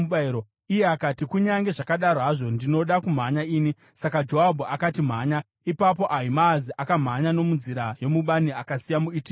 Iye akati, “Kunyange zvakadaro hazvo, ndinoda kumhanya ini.” Saka Joabhu akati, “Mhanya!” Ipapo Ahimaazi akamhanya nomunzira yomubani akasiya muEtiopia.